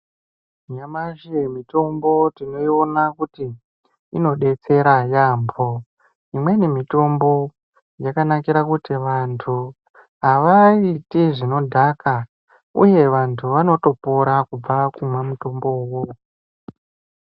Nyamashi mitombo tinoiona kuti inodetsera yaambho imweni mitombo yakanakira kuti vanthu avaiti zvinodhaka uye vanthu vanotopora kubva kumwa mutombo uwowo.